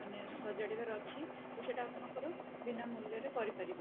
ମାନେ ସଜାଡିବାର ଅଛି ସେଟ ଆପଣ ବୀନା ମୂଲ୍ଯରେ କରିପାରିବେ